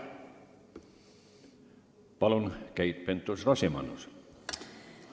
Palun, Keit Pentus-Rosimannus!